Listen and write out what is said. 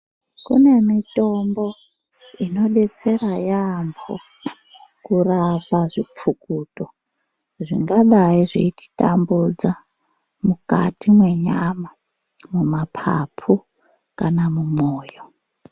Kune mitombo inobetsera yamho kurapa zvipfukuto zvingadai zveititambudza mukati mwenyama muma papu kana mumwoyo.